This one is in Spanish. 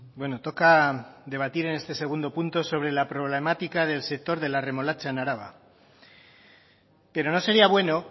bueno toca debatir en este segundo punto sobre la problemática del sector de la remolacha en araba pero no sería bueno